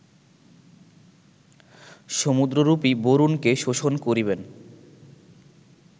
সমুদ্ররূপী বরুণকে শোষণ করিবেন